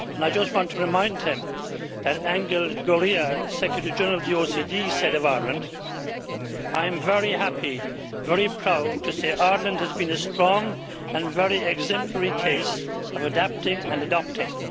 I just want to remind him that Angel Gurria, Secretary-General of the OECD, said of Ireland, I am very happy, very proud, to say Ireland has been a strong and very exemplary case of adapting and adopting'.